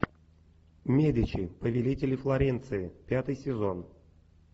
медичи повелители флоренции пятый сезон